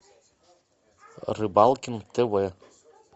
рыбалкин тв